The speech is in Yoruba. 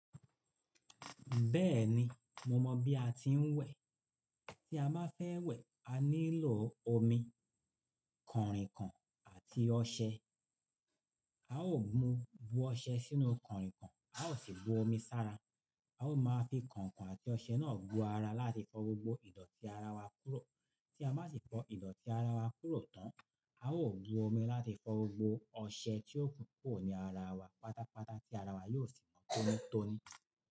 Bẹ́ẹ̀ni, mo mọ̀ bí a ti ń wẹ̀. Tí a bá fẹ́ wẹ̀, a nílò omi, kànrìnkàn àti ọṣẹ. A ó mu bú ọṣẹ sínú kànrìnkàn, a ó sì bu omi sára. A ó máa fi kànkàn àti ọṣẹ náà bu ara láti fọ gbogbo ìdọ̀tí ara wa kúrò. Tí a bá sì fọ ìdọ̀tí ara wa kúrò tán, a ó bu omi láti fọ gbogbo ọṣẹ tí ó kúnkún ní ara wa pátápátá, tí ara wa yóò sì mọ́ tónítóní.